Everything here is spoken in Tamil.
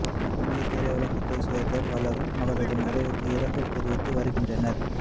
இந்திய திரையுலகைச் சேர்ந்த பலரும் அவரது மறைவுக்கு இரங்கல் தெரிவித்து வருகின்றனர்